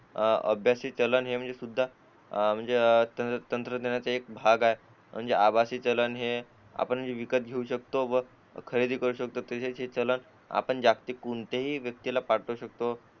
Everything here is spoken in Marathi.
अह अभ्यासक चलन म्हणजे सुद्धा म्हणजे अचानक तंत्रज्ञानाचा भाग आहे आभासी चलन है आपण जे विकत घेऊ शकतो सोबत खरेदी करू शकतो तसेच हे चलन आपण जागतिक कोणत्याही व्यक्तीला पाठवू शकतो